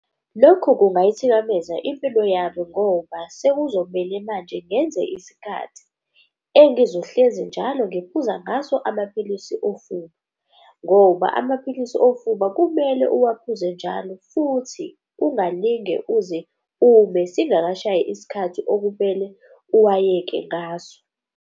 Lokhu kungayithikameza impilo yami ngoba sekuzomele manje ngenze isikhathi engizohlezi njalo ngiphuza ngaso amapilisi ofuba. Ngoba amaphilisi ofuba kumele uwaphuze njalo futhi ungalinge uze ume singakashayi isikhathi okumele uwayeke ngaso.